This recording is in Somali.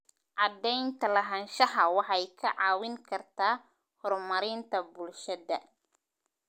Cadaynta lahaanshaha waxay kaa caawin kartaa horumarinta bulshada.